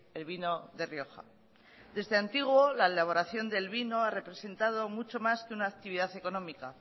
el vino de rioja desde antiguo la elaboración del vino ha representado mucho más que una actividad económica